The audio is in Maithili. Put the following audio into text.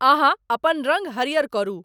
अहाँअपन रंग हरियर करु